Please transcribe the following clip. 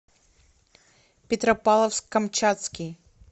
петропавловск камчатский